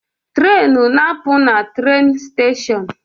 Trenu na apụ na trenu steshon